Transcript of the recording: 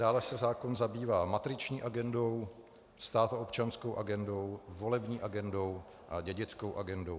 Dále se zákon zabývá matriční agendou, státoobčanskou agendou, volební agendou a dědickou agendou.